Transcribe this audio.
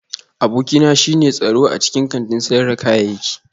Abokina shine tsaro a cikin kantin sayar da kayayyaki